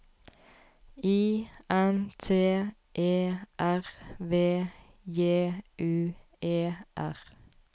I N T E R V J U E R